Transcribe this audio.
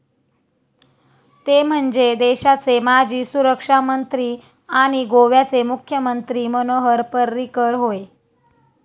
ते म्हणजे, देशाचे माजी सुरक्षामंत्री आणि गोव्याचे मुख्यमंत्री मनोहर पर्रीकर होय.